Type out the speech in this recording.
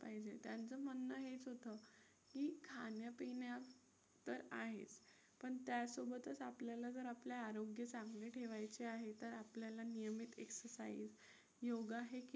खाण्यापिण्या तर आहेत पण त्यासोबतच आपल्याला जर आपले आरोग्य चांगले ठेवायचे आहे तर आपल्याला नियमित exercise योगा हे